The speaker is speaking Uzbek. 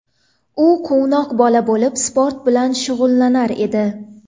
U quvnoq bola bo‘lib sport bilan shug‘ullanar edi.